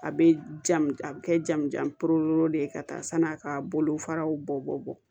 A bɛ jamu a bɛ kɛ jamujan de ye ka taa sanni a ka bolofaraw bɔ bɔ